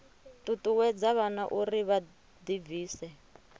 ṱuṱuwedza vhana uri vha ḓibvise